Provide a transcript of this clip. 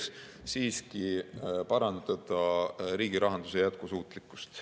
See on soov siiski parandada riigi rahanduse jätkusuutlikkust.